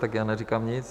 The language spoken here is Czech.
Tak, já neříkám nic.